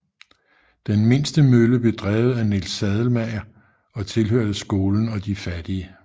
Den mindste mølle blev drevet af Niels Sadelmager og tilhørte skolen og de fattige